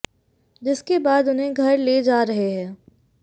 जिसके बाद उन्हें घर ले जा रहे हैं